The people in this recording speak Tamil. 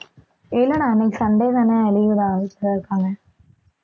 இல்லடா இன்னைக்கு சண்டே தானே leave தான், வீட்டில தான் இருக்காங்க